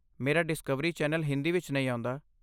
ਮੇਰਾ Discovery channel Hindi ਵਿੱਚ ਨਹੀਂ ਆਉਂਦਾ।